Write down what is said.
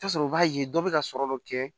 I bi t'a sɔrɔ u b'a ye dɔ bɛ ka sɔrɔ dɔ kɛ